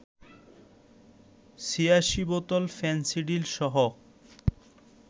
৮৬ বোতল ফেনসিডিলসহ